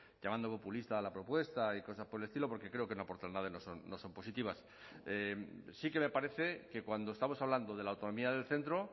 llamando populista a la propuesta y cosas por el estilo porque creo que no aportan nada y no son positivas sí que me parece que cuando estamos hablando de la autonomía del centro